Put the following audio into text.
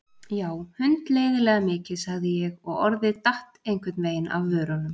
Já, hundleiðinlega mikið sagði ég og orðið datt einhvern veginn af vörunum.